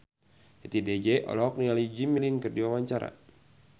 Titi DJ olohok ningali Jimmy Lin keur diwawancara